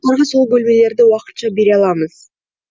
сол бөлмелерді уақытша бере аламыз